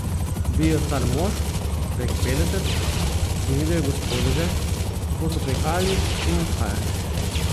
Bil je star mož, prek petdeset, in videl je gospodeže, kako so prihajali in odhajali.